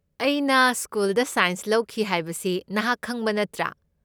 ꯑꯩꯅ ꯁ꯭ꯀꯨꯜꯗ ꯁꯥꯏꯟꯁ ꯂꯧꯈꯤ ꯍꯥꯏꯕꯁꯤ ꯅꯍꯥꯛ ꯈꯪꯕ ꯅꯠꯇ꯭ꯔꯥ?